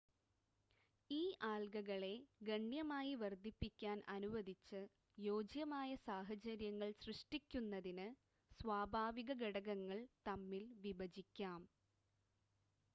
ഈ ആൽഗകളെ ഗണ്യമായി വർദ്ധിപ്പിക്കാൻ അനുവദിച്ച് യോജ്യമായ സാഹചര്യങ്ങൾ സൃഷ്ടിക്കുന്നതിന് സ്വാഭാവിക ഘടകങ്ങൾ തമ്മിൽ വിഭജിക്കാം